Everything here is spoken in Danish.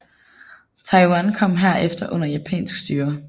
Taiwan kom herefter under japansk styre